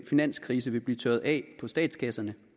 finanskrise vil blive tørret af på statskasserne